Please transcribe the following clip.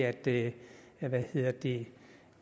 er det det